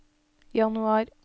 januar